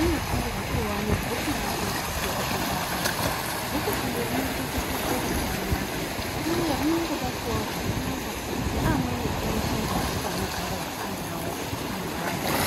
unosungirwe kuve ane bhuku rakwe rekuchipatara. Bhuku iri rinochengetedzwe zvakanaka uye rinongobatwawo zvakanaka seamweni eshe mabhuku anogarwa nawo mumhatso.